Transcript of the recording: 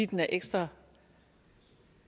den er ekstra